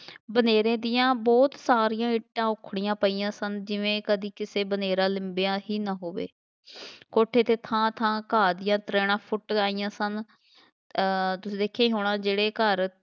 ਬਨੇਰੇ ਦੀਆ ਬਹੁਤ ਸਾਰੀਆਂ ਇੱਟਾਂ ਉੱਖੜੀਆਂ ਪਈਆਂ ਸਨ ਜਿਵੇਂ ਕਦੀ ਕਿਸੇ ਬਨੇਰਾ ਲਿੰਬਿਆ ਹੀ ਨਾ ਹੋਵੇ ਕੋਠੇ 'ਤੇ ਥਾਂ ਥਾਂ ਘਾਹ ਦੀ ਤਰੇੜਾਂ ਫੁੱਟ ਰਹੀਆਂ ਸਨ ਅਹ ਤੁਸੀਂ ਵੇਖਿਆ ਹੀ ਹੋਣਾ ਜਿਹੜੇ ਘਰ